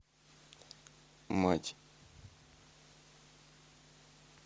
мать